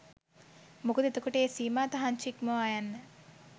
මොකද එතකොට ඒ සීමා තහන්චි ඉක්මවා යන්න